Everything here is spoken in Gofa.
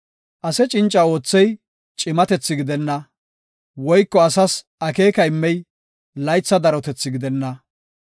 Ase cinca oothey cimatethi gidenna, woyko asas akeeka immey laytha darotethi gidenna.